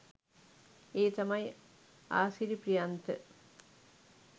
ඒ තමයි ආසිරි ප්‍රියන්ත